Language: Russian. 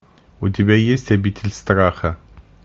у тебя есть обитель страха